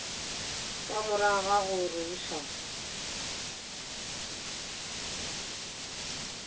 ka morago ga go rerišana